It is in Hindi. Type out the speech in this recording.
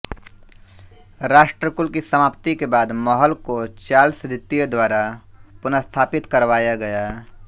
राष्ट्रकुल की समाप्ति के बाद महल को चार्ल्स द्वितीय द्वारा पुनस्थापित करवाया गया